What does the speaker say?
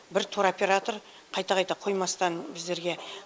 бір тур оператор қайта қайта қоймастан біздерге